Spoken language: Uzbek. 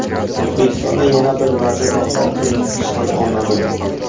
O‘zbekistonda yana bir vazir va hokim ishdan olinadi.